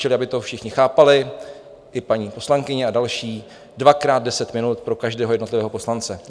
Čili aby to všichni chápali, i paní poslankyně a další: dvakrát deset minut pro každého jednotlivého poslance.